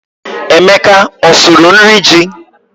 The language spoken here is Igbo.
Emeka ọ sụrụ nri ji?